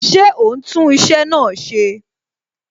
Ṣé o ń tún iṣẹ́ náà ṣe?